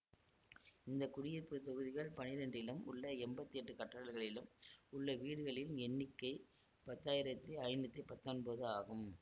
இந்த குடியிருப்பு தொகுதிகள் பனிரெண்டிலும் உள்ள எம்பத்தி எட்டு கட்டடங்களிலும் உள்ள வீடுகளில் எண்ணிக்கை பத்தாயிரத்தி ஐநூத்தி பத்தொன்பது ஆகும்